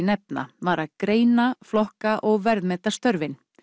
nefna var að greina flokka og verðmeta störfin